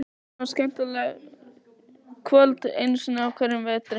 Það er víst svona skemmtikvöld einu sinni á hverjum vetri.